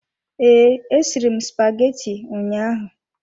Ee, esiri m spaghetti ụnyaahụ.